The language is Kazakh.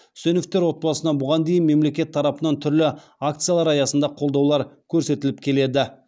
үсеновтер отбасына бұған дейін мемлекет тарапынан түрлі акциялар аясында қолдаулар көрсетіліп келеді